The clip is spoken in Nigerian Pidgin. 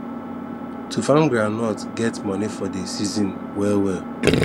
to farm groundnut get money for dey season well well